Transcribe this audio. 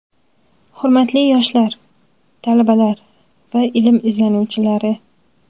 Hurmatli yoshlar, talabalar va ilm izlanuvchilari!.